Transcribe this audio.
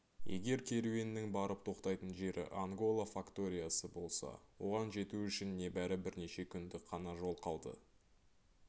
егер керуеннің барып тоқтайтын жері ангола факториясы болса оған жету үшін небәрі бірнеше күндік қана жол қалды